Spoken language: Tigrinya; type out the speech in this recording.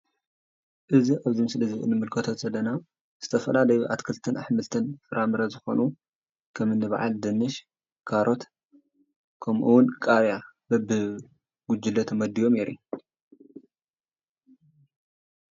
ኣብዚ ምስሊ እንረኦም ዘለና ዝተፈላለዩ ኣትክልትን ኣሕምልትን ዝኮኑ ኣዝርእትን ከም ድንሽ፣ ካሮስ፣ ቃርያ ብጉጅለ ተመዲቦም የርኢ ኣሎ ፡፡